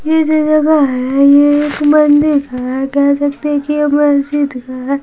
ये जो जगह है ये एक मंदिर का क्या सकते कि मस्जिद है।